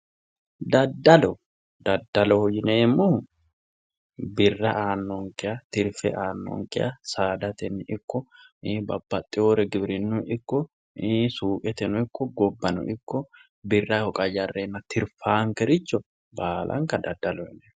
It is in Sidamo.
daddalo daddalo yineemmohu birra aannonkeha tirfe aannonkeha saadatenni ikko babbaxewore giwirinnuy ikko suuqeteno ikko gobbano ikko birraho qayyareenna tirfaankericho baalanka dadaloho yineemmo